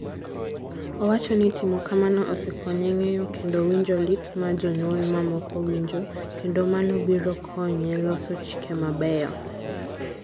Owacho ni timo kamano osekonye ng'eyo kendo winjo lit ma jonyuol mamoko winjo, kendo mano biro konye loso chike mabeyo.